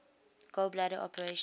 gall bladder operation